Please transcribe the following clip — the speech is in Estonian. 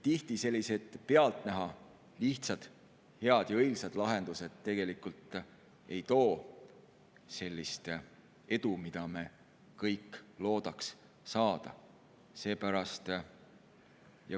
Tihti sellised pealtnäha lihtsad, head ja õilsad lahendused tegelikult ei too sellist edu, mida me kõik loodaksime.